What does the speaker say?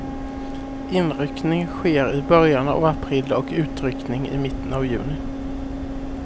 Inryckning sker i början av april och utryckning i mitten av juni.